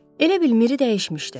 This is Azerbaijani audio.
Elə bil Miri dəyişmişdi.